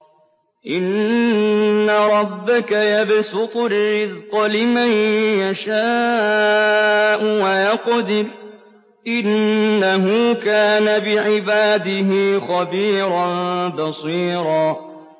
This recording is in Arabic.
إِنَّ رَبَّكَ يَبْسُطُ الرِّزْقَ لِمَن يَشَاءُ وَيَقْدِرُ ۚ إِنَّهُ كَانَ بِعِبَادِهِ خَبِيرًا بَصِيرًا